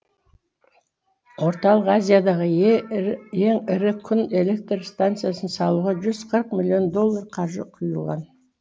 орталық азиядағы ең ірі күн электр станциясын салуға жүз қырық миллион доллар қаржы құйылған